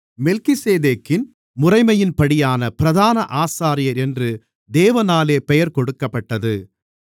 மெல்கிசேதேக்கின் முறைமையின்படியான பிரதான ஆசாரியர் என்று தேவனாலே பெயர் கொடுக்கப்பட்டது